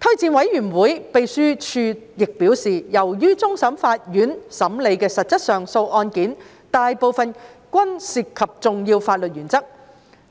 推薦委員會秘書亦表示，由於終審法院審理的實質上訴案件大部分均涉及重要法律原則，